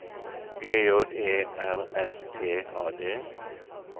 G J E R S T A D